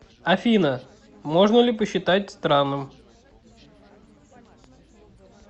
афина можно ли посчитать странным